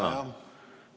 Tänan!